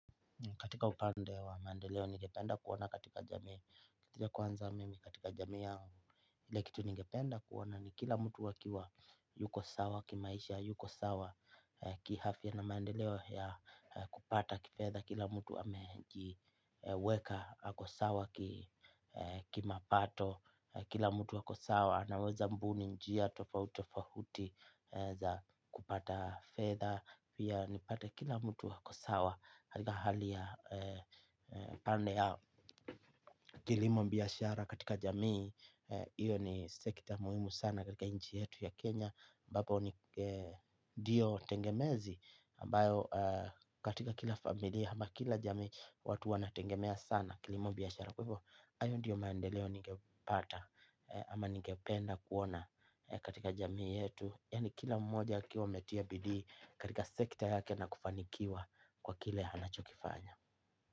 Katika upande wa maendeleo ningependa kuona katika jamii. Katika kwanza mimi katika jamii yao. Ile kitu ningependa kuona ni kila mtu akiwa yuko sawa, kimaisha yuko sawa. Kiafia na maandeleo ya kupata kifedha. Kila mtu amejiweka ako sawa ki mapato. Kila mtu wako sawa anaweza mbuni njia tofauti tofauti za kupata fedha. Pia nipate kila mtu ako sawa. Katika hali ya pande ya kilimo biashara katika jamii iyo ni sekta muhimu sana katika nchi yetu ya Kenya ambapo ni ndio tegemezi ambayo katika kila familia ama kila jamii watu wana tegemea sana kilimo biashara. Kwa hivyo hayo ndiyo maendeleo ningepata. Ama ningependa kuona katika jamii yetu. Yaani kila mmoja akiwa ametia bidii katika sekta yake na kufanikiwa kwa kile anachokifanya.